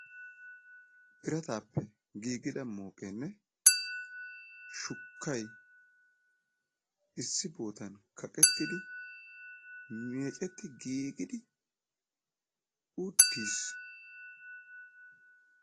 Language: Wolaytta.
birataappe giigida mooqeenne issi bootan kaqettidi meecetti giigidi uttis.